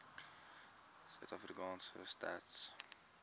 sa stats sa